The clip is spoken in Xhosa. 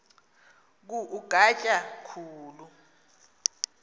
ku ugatya khulu